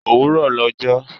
Òwúrọ̀ lọ jọ́